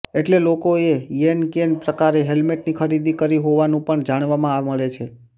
એટલે લોકોએ યેનકેન પ્રકારે હેલ્મેટની ખરીદી કરી હોવાનું પણ જાણવા મળે છે